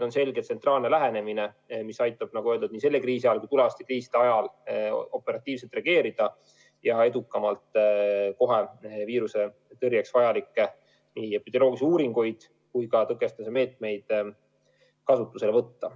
On selge tsentraalne lähenemine, mis aitab, nagu öeldud, nii selle kriisi ajal kui tulevaste kriiside ajal operatiivselt reageerida ja edukamalt kohe viirusetõrjeks vajalikke epidemioloogilisi uuringuid ja ka tõkestamise meetmeid kasutusele võtta.